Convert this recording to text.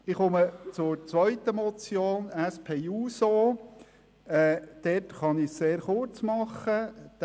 Ich komme zur zweiten Motion, SP-JUSO-PSA, zu der ich mich sehr kurzfassen kann.